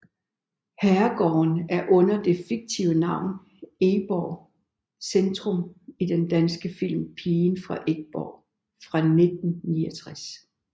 Herregården er under det fiktive navn Egborg centrum i den danske film Pigen fra Egborg fra 1969